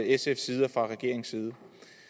sfs side og fra regeringens side